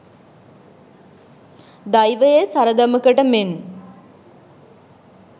දෛවයේ සරදමකට මෙන්